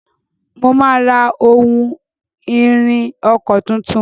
Mo máa ra ohun-ìrìn ọkọ̀ tuntun.